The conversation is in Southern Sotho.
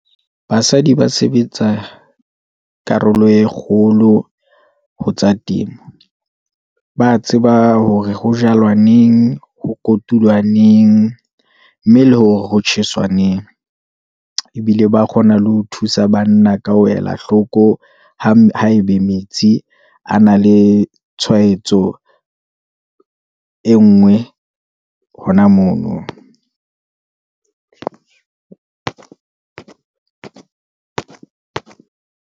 Basadi ba sebetsa karolo e kgolo ho tsa temo, ba tseba hore ho jalwa neng, ho kotulwa neng, mme le hore ho tjheswa neng, ebile ba kgona le ho thusa banna ka ho ela hloko. Haebe metsi a na le tshwaetso e nngwe hona mono .